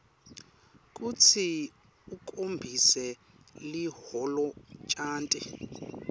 kutsi ukhombise liholonchanti